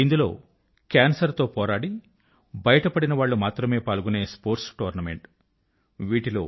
ఇందులో కేన్సర్ తో పోరాడి బయటపడినవాళ్ళే పాల్గొనే యంగ్ కేన్సర్ సర్వైవర్స్ పాల్గొనే స్పోర్ట్స్ టోర్నమెంట్